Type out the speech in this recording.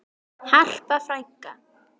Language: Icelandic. Harpa frænka.